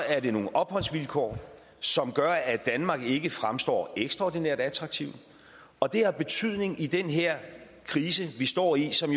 er det nogle opholdsvilkår som gør at danmark ikke fremstår ekstraordinært attraktivt og det har betydning i den her krise vi står i som